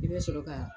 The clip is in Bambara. I bɛ sɔrɔ ka